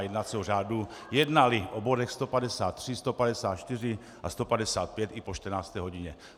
a) jednacího řádu jednali o bodech 153, 154 a 155 i po 14. hodině.